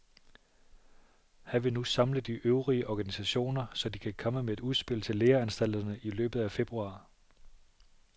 Han vil nu samle de øvrige organisationer, så de kan komme med et udspil til læreanstalterne i løbet af februar.